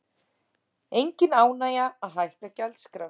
Engin ánægja að hækka gjaldskrár